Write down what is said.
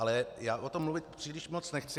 Ale já o tom mluvit příliš moc nechci.